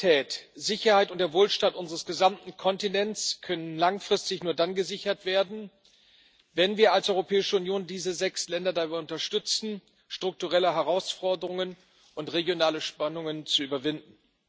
Die Stabilität, Sicherheit und der Wohlstand unseres gesamten Kontinents können langfristig nur dann gesichert werden, wenn wir als Europäische Union diese sechs Länder dabei unterstützen, strukturelle Herausforderungen und regionale Spannungen zu überwinden.